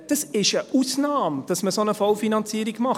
Es ist eine Ausnahme, dass man eine solche Vollfinanzierung macht.